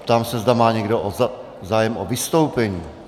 Ptám se, jestli má někdo zájem o vystoupení.